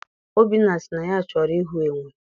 Obinna sị na ya chọrọ ịhụ enwe.